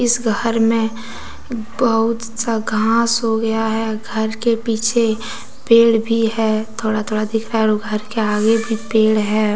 इस घर में बहुत सा घास हो गया है घर के पीछे पेड़ भी है थोड़ा थोड़ा दिख रहा है और घर के आगे भी पेड़ है।